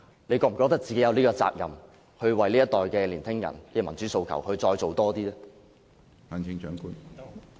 她是否覺得自己有責任，為這一代年輕人的民主訴求，再做多一點呢？